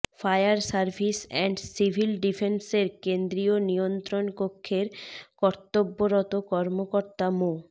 fire service and civil ডিফেন্সের কেন্দ্রীয় নিয়ন্ত্রণ কক্ষের কর্তব্যরত কর্মকর্তা মো